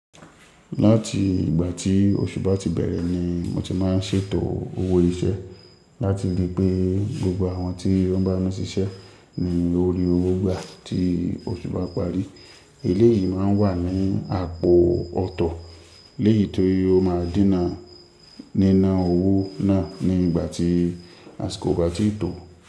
Lati igba ti osu ba ti bere ni mo ti maa n se eto owo ise lati ri pe gbogbo awon ti o n bami sise ni ori owo gba ti osu ba pari. Eléyìí má n wà ní àpò ọ̀tọ̀, eléyiì tí ó máa dinà nina owo naa ni igba ti asiko o ba tii to.